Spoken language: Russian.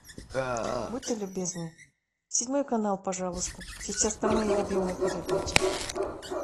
будьте любезны седьмой канал пожалуйста сейчас там мои любимые передачи